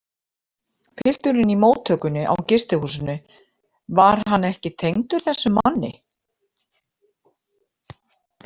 Pilturinn í móttökunni á gistihúsinu, var hann ekki tengdur þessum manni?